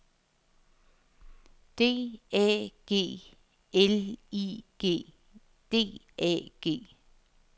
D A G L I G D A G